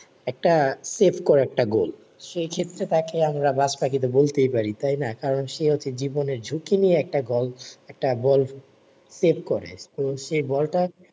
একটা সেভ করে একটা গোল সে ক্ষেত্রে তাকে আমারা বাজ পাখি বলতে পারি তাই না কারণ সে হচ্ছে জীবনের ঝুকি নিয়ে একটা গোল একটা গোল সেভ করে তো সেই বলটা